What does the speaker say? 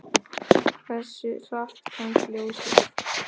Hversu hratt kemst ljósið?